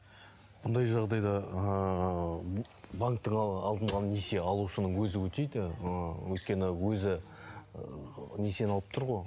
бұндай жағдайда ыыы банктің алдындағы несие алушының өзі өтейді ы өйткені өзі несиені алып тұр ғой